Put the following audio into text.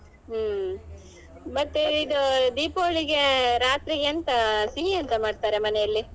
ಹ್ಮ್ ಮತ್ತೆ ಇದು ದೀಪಾವಳಿಗೆ ರಾತ್ರಿಗೆ ಎಂತ ಸಿಹಿ ಎಂತ ಮಾಡ್ತಾರೆ ಮನೆಯಲ್ಲಿ?